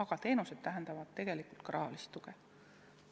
Ent teenused tähendavad tegelikult ka lisaraha vajadust.